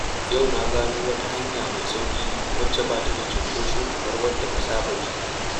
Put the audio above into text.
Yau na gano wata hanya mai sauƙi wacce ba ta da cunkoso kamar wadda na saba bi.